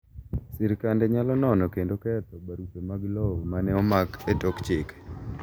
Sirkande nyalo nono kendo ketho barupe mag lowo ma ne omak e tok chike